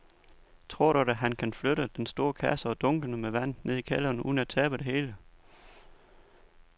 Tror du, at han kan flytte den store kasse og dunkene med vand ned i kælderen uden at tabe det hele?